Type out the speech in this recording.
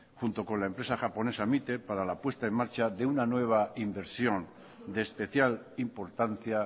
junto con la empresa japonesa mite para la puesta en marcha de una nueva inversión de especial importancia